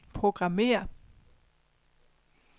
programmér